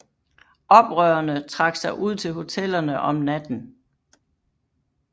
Oprørerne trak sig ud til hotellerne om natten